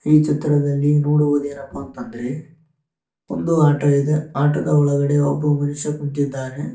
ಈ ಚಿತ್ರದಲ್ಲಿ ನೋಡುವುದೇನಪ್ಪ ಅಂತಂದ್ರೆ ಒಂದು ಆಟೋ ಇದೆ ಆಟೋದ ಒಳಗಡೆ ಒಬ್ಬ ಮನುಷ್ಯ ಕುಂತಿದ್ದಾನೆ.